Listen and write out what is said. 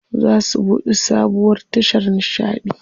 Za su buɗe sabuwar tashar nishaɗi.